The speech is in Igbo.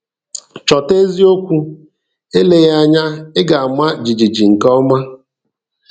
Chọta eziokwu, eleghị anya ị ga-ama jijiji nke ọma.